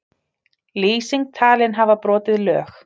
Lýsing talin hafa brotið lög